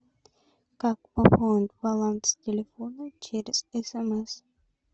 как пополнить баланс телефона через смс